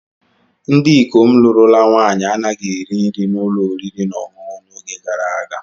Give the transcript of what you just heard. Ndị ikom lụrụla nwaanyi anaghị eri nri n'ụlọ oriri na ọṅụṅụ n'oge gara aga.